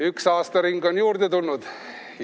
... üks aastaring on juurde tulnud.